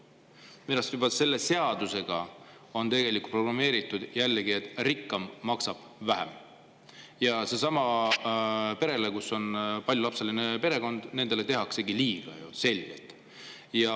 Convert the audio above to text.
Minu arust on sellesse seadusesse tegelikult jällegi programmeeritud see, et rikkam maksab vähem ja paljulapselisele perekonnale tehakse selgelt liiga.